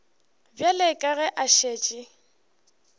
bjale ka ge a šetše